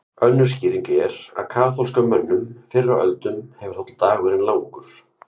Önnur skýring er að kaþólskum mönnum fyrr á öldum hefur þótt dagurinn langur.